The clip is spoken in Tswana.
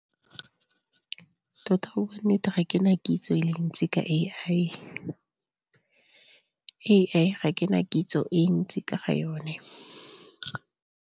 Tota go bua nnete ga ke na kitso e le ntsi ka A_I, A_I ga ke na kitso e ntsi ka ga yone.